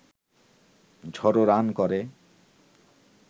ঝড়ো রান করে